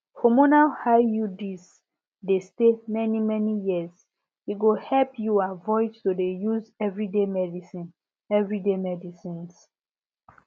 hormonal iuds dey stay many many years e go help you avoid to dey use everyday medicines everyday medicines